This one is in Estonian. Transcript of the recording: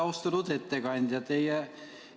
Austatud ettekandja!